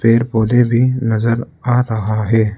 पेड़ पौधे भी नजर आ रहा है।